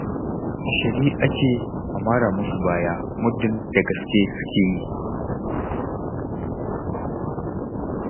A shirye ake a mara musu baya muddin da gaske suke yi.